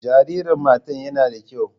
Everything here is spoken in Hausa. Jaririn matar yana da kyau.